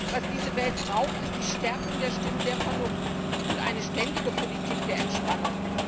Was diese Welt braucht, ist die Stärkung der Stimmen der Vernunft und eine ständige Politik der Entspannung.